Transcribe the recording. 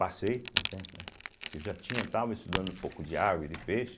Passei, porque já tinha estava estudando um pouco de água e de peixe.